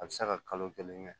A bɛ se ka kalo kelen kɛ